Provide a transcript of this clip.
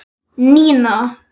Nína!